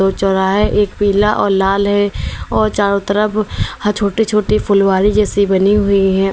चौराहा एक पीला और लाल है और चारों तरफ छोटे छोटे फुलवारी जैसी बनी हुई हैं।